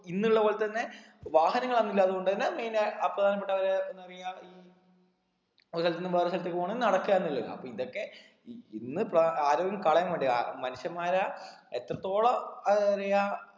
ഇന്നുള്ള പോലെ തന്നെ വാഹനങ്ങൾ അന്നില്ല അതുകൊണ്ട് തന്നെ main ആ അഹ് പ്രധാനപെട്ടവരെ എന്തപറയ ഈ ഒരു സ്ഥലത്തിന്ന് വേറെ സ്ഥലത്തേക്ക് പോണെ നടക്കായിരുന്നല്ലോ അപ്പൊ ഇതൊക്കെ ഇ ഇന്ന് പ്ര ആരോഗ്യം കളയാൻ വേണ്ടിയാ മനുഷ്യന്മാര എത്രത്തോളം ആഹ് പറിയാ